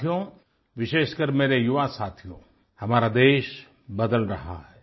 साथियो विशेषकर मेरे युवा साथियो हमारा देश बदल रहा है